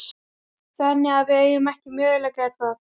Þannig að við eigum ekki möguleika, er það?